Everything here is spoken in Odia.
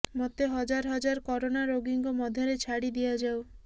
ମୋତେ ହଜାର ହଜାର କରୋନା ରୋଗୀଙ୍କ ମଧ୍ୟରେ ଛାଡ଼ି ଦିଆଯାଉ